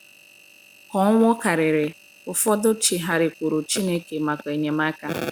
ka ọnwụ kariri, ụfọdụ chigharịkwuuru Chineke maka enyemaka.